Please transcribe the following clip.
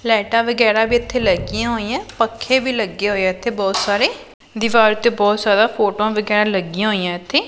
ਲਾਈਟਾਂ ਵਗੈਰਾ ਵੀ ਇੱਥੇ ਲੱਗੀਆਂ ਹੋਈਆਂ ਪੱਖੇ ਵੀ ਲੱਗੇ ਹੋਇਆ ਇੱਥੇ ਬਹੁਤ ਸਾਰੇ ਦਿਵਾਰ ਤੇ ਬਹੁਤ ਜ਼ਾਦਾ ਫੋਟੋਆਂ ਵਗੈਰਾ ਲੱਗੀਆਂ ਹੋਈਆਂ ਇੱਥੇ।